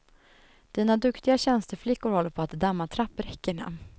Dina duktiga tjänsteflickor håller på att damma trappräckena.